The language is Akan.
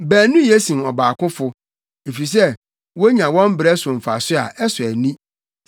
Baanu ye sen ɔbaakofo, efisɛ wonya wɔn brɛ so mfaso a ɛsɔ ani: